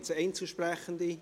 Gibt es Einzelsprechende?